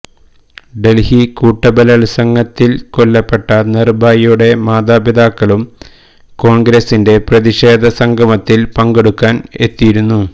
ഡല്ഹി കൂട്ടബലാത്സംഗത്തില് കൊല്ലപ്പെട്ട നിര്ഭയയുടെ മാതാപിതാക്കളും കോണ്ഗ്രസിന്റെ പ്രതിഷേധ സംഗമത്തില് പങ്കെടുക്കാന് എത്തിയിരുന്നു